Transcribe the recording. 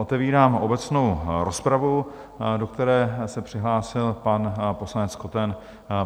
Otevírám obecnou rozpravu, do které se přihlásil pan poslanec Koten.